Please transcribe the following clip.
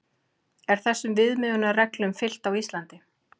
Er þessum viðmiðunarreglum fylgt á Íslandi?